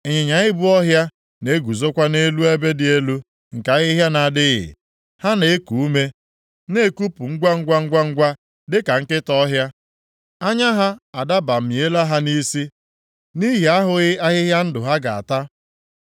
Ịnyịnya ibu ọhịa na-eguzokwa nʼelu ebe dị elu nke ahịhịa na-adịghị. Ha na-eku ume na-ekupụ ngwangwa, ngwangwa, dịka nkịta ọhịa; anya ha adabamiela ha nʼisi nʼihi ahụghị ahịhịa ndụ ha ga-ata.”